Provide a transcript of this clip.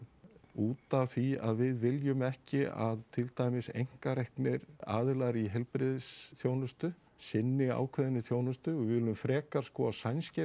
út af því að við viljum ekki að að til dæmis einkareknir aðilar í heilbrigðisþjónustu sinni ákveðinni þjónustu við viljum frekar að sænskir